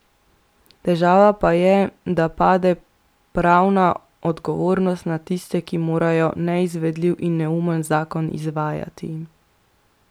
Težava pa je, da pade pravna odgovornost na tiste, ki morajo neizvedljiv in neumen zakon izvajati.